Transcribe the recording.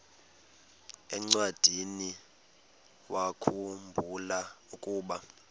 encwadiniwakhu mbula ukuba